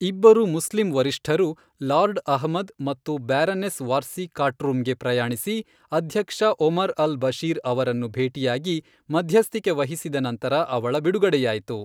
ಇಬ್ಬರು ಮುಸ್ಲಿಂ ವರಿಷ್ಠರು, ಲಾರ್ಡ್ ಅಹ್ಮದ್ ಮತ್ತು ಬ್ಯಾರನೆಸ್ ವಾರ್ಸಿ ಖಾರ್ಟೂಮ್ಗೆ ಪ್ರಯಾಣಿಸಿ ಅಧ್ಯಕ್ಷ ಒಮರ್ ಅಲ್ ಬಶೀರ್ ಅವರನ್ನು ಭೇಟಿಯಾಗಿ ಮಧ್ಯಸ್ಥಿಕೆ ವಹಿಸಿದ ನಂತರ ಅವಳ ಬಿಡುಗಡೆಯಾಯಿತು.